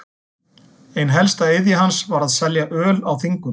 Ein helsta iðja hans var að selja öl á þingum.